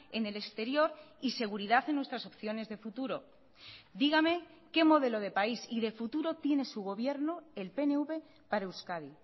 en el exterior y seguridad en nuestras opciones de futuro dígame qué modelo de país y de futuro tiene su gobierno el pnv para euskadi